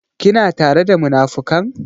Kina tare da munafukan?